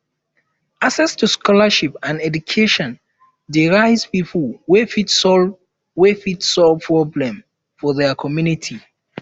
access to scholarship and education de raise pipo wey fit solve wey fit solve problems for their community